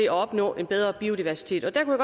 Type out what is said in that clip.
at opnå en bedre biodiversitet derfor